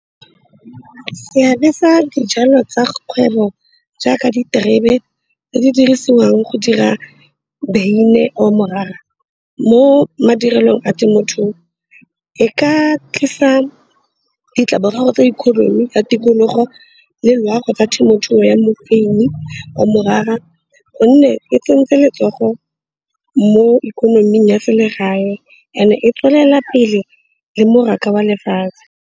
seabe sa dijalo tsa kgwebo jaaka diterebe tse di dirisiwang go dira beine o morara mo madirelong a temothuo e ka tlisa ditlamorago tsa economy ya tikologo le loago tsa temothuo ya mofeini o morara gonne e tsentseng letsogo mo ikonoming ya selegae and e tswelela pele le mmaraka wa lefatshe